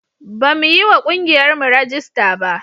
Bamu yi wa ƙungiyarmu rajista ba.